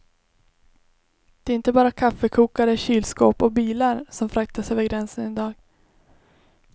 Det är inte bara kaffekokare, kylskåp och bilar som fraktas över gränsen i dag.